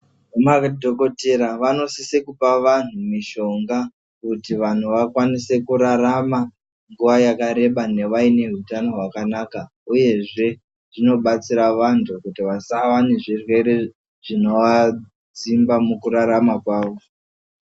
Madhokodheya anosisa kupa antu mishonga kuti antu akwanise kurarama nguwa yakareba aine hutano hwakanaka uyezve zvinobatsira vantu kuti vasave vane zvirwere zvinovasimba mukurarama kwawo.